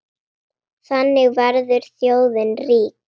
Þannig verður þjóðin rík.